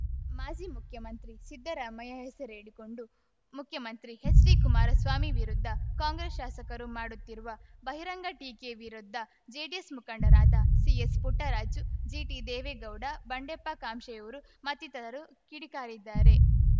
ಮಾಜಿ ಮುಖ್ಯಮಂತ್ರಿ ಸಿದ್ದರಾಮಯ್ಯ ಹೆಸರೇಳಿಕೊಂಡು ಮುಖ್ಯಮಂತ್ರಿ ಹೆಚ್‌ಡಿಕುಮಾರಸ್ವಾಮಿ ವಿರುದ್ಧ ಕಾಂಗ್ರೆಸ್‌ ಶಾಸಕರು ಮಾಡುತ್ತಿರುವ ಬಹಿರಂಗ ಟೀಕೆ ವಿರುದ್ಧ ಜೆಡಿಎಸ್‌ ಮುಖಂಡರಾದ ಸಿಎಸ್‌ ಪುಟ್ಟರಾಜು ಜಿಟಿದೇವೇಗೌಡ ಬಂಡೆಪ್ಪ ಕಾಶೆಂಊರು ಮತ್ತಿತರರು ಕಿಡಿಕಾರಿದ್ದಾರೆ